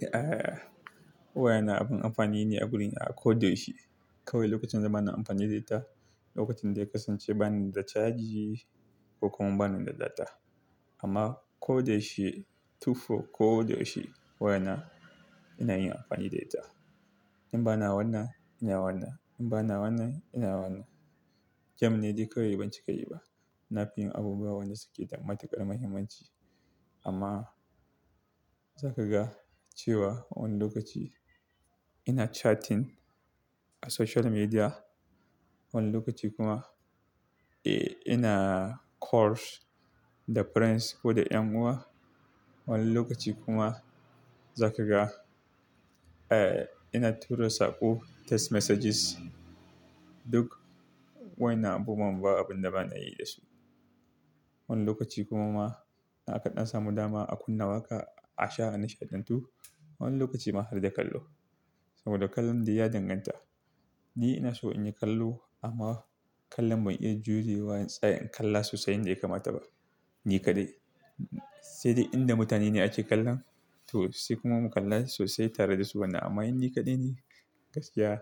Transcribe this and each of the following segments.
Eh, waya na abin amfani ne a guri na. Ko da yaushe kawai lokacin da ba na amfani da ita, lokacin da ya kasance ba ni da caji ko kuma ba ni da data. Amma ko da yaushe, tufo ko da yaushe wayana ina yin amfani da ita. In ba na wannan, ina wannan. In ba na wannan, ina wannan. Jam ne dai kawai, banci ka yi ba. Na fi yin abubuwa wan da suke da matukar muhimmanci. Amma za ka ga cewa wani lokaci ina chatting a social media, wani lokaci kuma, eh, ina calls da friends ko da 'yan uwa, wani lokaci kuma za ka ga, eh, ina tura saƙo, text messages. Duk wayannan abubuwan, ba abin da ba na yi da su. Wani lokaci kuma ma in aka ɗan samu dama a kunna waƙa, a sha nishaɗantu, wani lokaci ma har da kallo saboda kallon dai ya danganta. Ni ina so in yi kallo amma kallon bai iya jurewa in tsaya in kalla sosai yadda ya kamata ba. Ni kaɗai. Sai dai inda mutane ne ake kallon, to sai kuma mu kalla sosai tare da su. Wannan amma in ni kaɗai ne, gaskiya,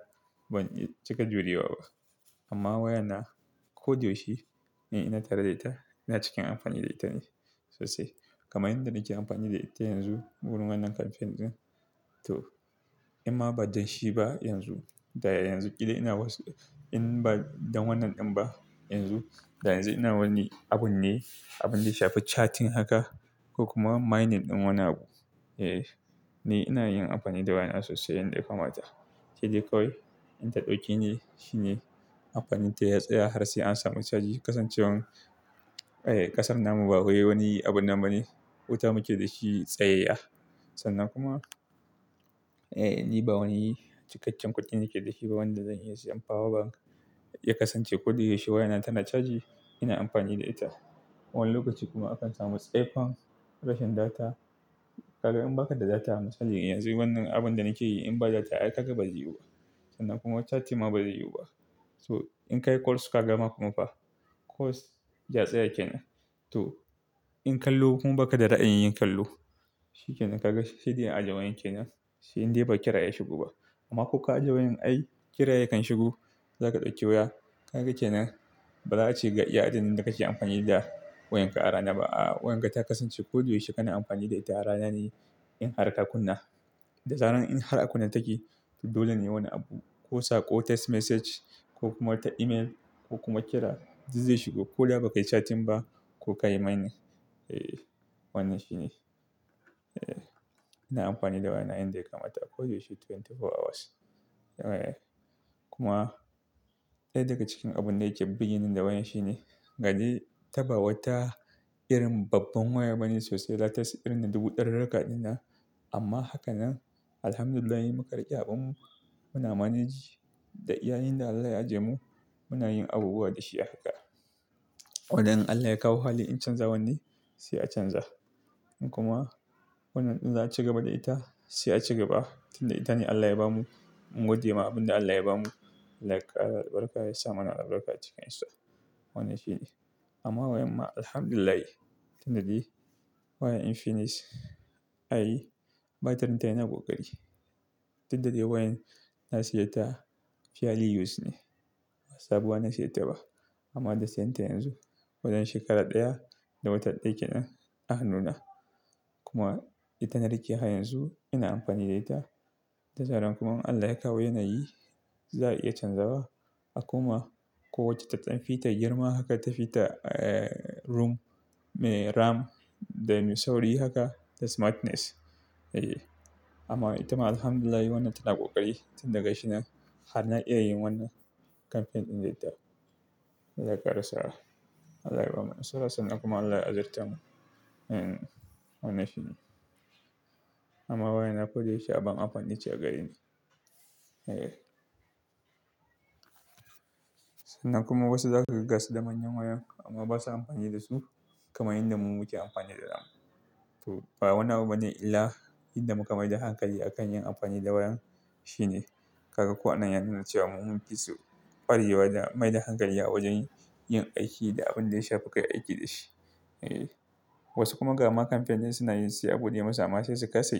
ban iya cika jurewa ba. Amma waya na ko da yaushe in ina tare da ita, ina cikin amfani da ita ne sosai. Kamar yadda nake amfani da ita yanzu wurin wannan campaign din, to in ma ba don shi ba yanzu, da yanzu ƙila ina wasu-- in ba don wannan din ba yanzu, da yanzu ina wani abun ne, abin da ya shafi chatting haka ko kuma mining din wani abu. Eh, ina yin anfani da wayana sosai yanda ya kamata sai dai kawai in ta dauke ne shine anfanin ta ya tsaya har sai an samu caji kasancewan kasan namu ba wai wani abunnan bane wuta muke da shi tsayayya yin amfani da waya na sannan kuma chatting ma bazai yiwuba so in ka yi calls ka gama kuma fa calls ya tsaya kenan to in kallo kuma baka da raayin yin kallo shi kenan ka ga sai dai in aje wayar kenan sai in badai kira ya shigo ba ko ka aje wayan ai kira yakan shigo zaka dauki waya ka ga kenan baza ace ga iya adadin da kake anfani da wayanka a rana ba aa wayanka ta kasance kana anfani da ita a ranane in har ka kunna dazarar in har a kunne take dole ne wani abu ko sako text message message ko kuma ta email ko kuma kira duk zai shigo ko da bakai chatting ba ko ka yi mining daga cikin abun da yake birgeni da wayan shine, gani ta ba wata irin babban waya ba ne sosai. Latas irin na dubu ɗarirrika din nan. Amma haka nan, Alhamdulillahi, in muka riƙe abunmu. Muna manage. Da iyayin da Allah ya ajiye mu, muna yin abubuwa da shi a haka. Wanda in Allah ya kawo hali in canza wanne. Sai a canza. Kuma wannan din za a cigaba da ita, sai a cigaba. Tunda ita ne Allah ya bamu, mun gode ma abin da Allah ya bamu. Allah ya kara, albarka, yasa mana albarka, a cikin su. Wannan shi ne. Amma wayan ma, Alhamdulillahi, tunda dai wayan Infinix, ai batirin ta yana ƙoƙari. Tunda dai wayan na siye ta fiyali use ne. Ba Sabuwa na siye ta ba. Amma da siyan ta yanzu, wajan shekara ɗaya da wata ɗaya kenan a hannuna. Kuma ita na rike har yanzu, ina amfani da ita. Da zaran kuma in Allah ya kawo yanayi, za a iya canzawa. A koma ko wacce ta dan fita girma haka, ta fita, eh, room, me RAM, da mai sauri haka, da smartness. Eh, amma ita ma Alhamdulillahi, wannan tana ƙoƙari. Tunda ga shi nan har na iya yin wannan campaign din da ita. Allah ya kara saa. Allah ya bamu. Narasa sanan kuma Allah ya azirta mu. Eh, wannan shi ne. Amma wayana ko da yaushe abin amfani ce a gareni. Eh. Sannan kuma wasu za kaga gasu da manyan wayan amma ba sa amfani da su kaman yadda mu muke amfani da to, ba wani abu bane illa inda muka maida hankali a kan yin amfani da wayan shine. Kaga ko anan ya nuna cewa mun fi su kwarewa da maida hankali a wajen yin aiki da abin da ya shafi kai aiki da shi. Eh, wasu kuma ga ma campaign din suna yin su sai a bude musu amma sai su kasa yi.